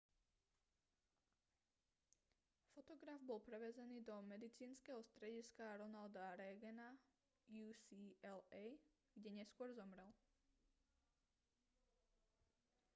fotograf bol prevezený do medicínskeho strediska ronalda reagana ucla kde neskôr zomrel